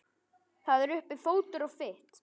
Það er uppi fótur og fit.